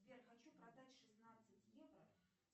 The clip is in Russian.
сбер хочу продать шестнадцать евро